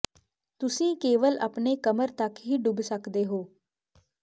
ਤੁਸੀਂ ਕੇਵਲ ਆਪਣੇ ਕਮਰ ਤੱਕ ਹੀ ਡੁੱਬ ਸਕਦੇ ਹੋ